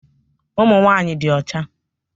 Ụmụ nwanyị dị ọcha.